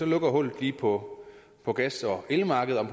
lukker hullet lige på på gas og elmarkedet